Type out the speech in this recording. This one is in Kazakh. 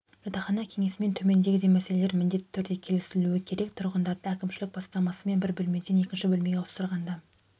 жатақхана кеңесімен төмендегідей мәселелер міндетті түрде келісілуі керек тұрғындарды әкімшілік бастамасымен бір бөлмеден екінші бөлмеге ауыстырғанда